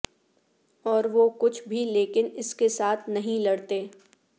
اور وہ کچھ بھی لیکن اس کے ساتھ نہیں لڑتے